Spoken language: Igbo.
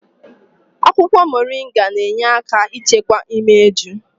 Akwụkwọ moringa na-enye aka ichekwa imeju.